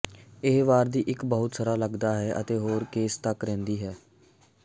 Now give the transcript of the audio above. ਇਹ ਵਾਰ ਦੀ ਇੱਕ ਬਹੁਤ ਸਾਰਾ ਲੱਗਦਾ ਹੈ ਅਤੇ ਹੋਰ ਕੇਸ ਤੱਕ ਰਹਿੰਦੀ ਹੈ